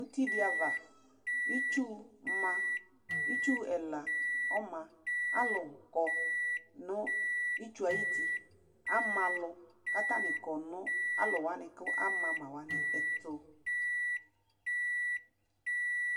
Ʋtidi ava itsʋ ɛla ɔma alʋkɔ nʋ itsʋ yɛ ayʋti ama alʋ kʋ atani kɔ nʋ alʋ alʋwani kʋ amama wani ɛtʋ